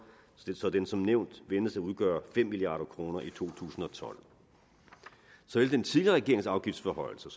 så den som nævnt ventes at udgøre fem milliard kroner i to tusind og tolv så alle den tidligere regerings afgiftsforhøjelser